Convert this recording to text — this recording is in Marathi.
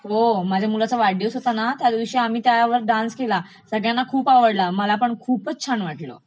हो माझ्या मुलाचा वाढदिवस होता ना त्याद्वशी आम्ही त्याच्यावर डान्स केला ना, सगळ्यांना खूप आवडलं, मला पण खूपच छान वाटलं